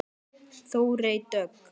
Þórey Dögg.